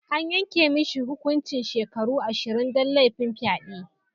An yanka mishi hukuncin shekaru ashirin dan lafin fyade.